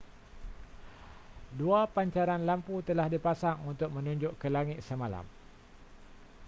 dua pancaran lampu telah dipasang untuk menunjuk ke langit semalam